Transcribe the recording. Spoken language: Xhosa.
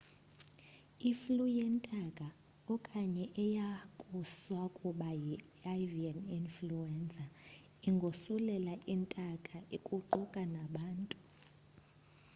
iflu yentaka okanye eyakusakuba yi avian ifluenza ingosulela intake kuquka nabantu